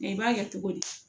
Nka i b'a kɛ cogo di